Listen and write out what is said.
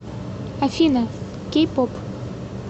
афина кей поп